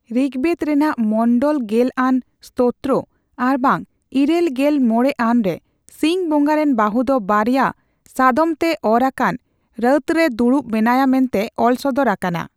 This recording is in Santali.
ᱨᱤᱠᱵᱮᱫᱽ ᱨᱮᱱᱟᱜ ᱢᱚᱱᱰᱚᱞ ᱜᱮᱞ ᱟᱱ ᱥᱛᱳᱛᱨᱚ ᱟᱨᱵᱟᱝ ᱤᱨᱟᱹᱞ ᱜᱮᱞ ᱢᱚᱲᱮ ᱟᱱ ᱨᱮ ᱥᱤᱸᱧ ᱵᱚᱸᱜᱟᱨᱤᱱ ᱵᱟᱹᱦᱩ ᱫᱚ ᱵᱟᱨᱭᱟ ᱥᱟᱫᱚᱢᱛᱮ ᱚᱨ ᱟᱠᱟᱱ ᱨᱟᱸᱛᱨᱮ ᱫᱩᱲᱩᱵ ᱢᱮᱱᱟᱭᱟ ᱢᱮᱱᱛᱮ ᱚᱞ ᱥᱚᱫᱚᱨ ᱟᱠᱟᱱᱟ ᱾